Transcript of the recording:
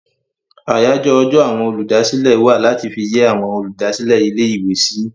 Àyájọ́ ọjọ́ àwọn olùdásílẹ̀ wà láti fi yẹ́ àwọn olùdásílẹ̀ ilé-ìwé sí.